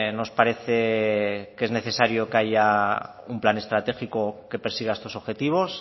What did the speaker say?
nos parece que es necesario que haya un plan estratégico que persiga estos objetivos